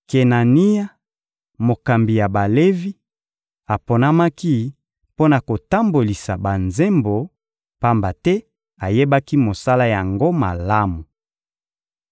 Kenania, mokambi ya Balevi, aponamaki mpo na kotambolisa banzembo; pamba te ayebaki mosala yango malamu.